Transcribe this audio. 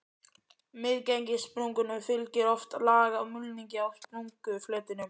Misgengissprungum fylgir oft lag af mulningi á sprungufletinum.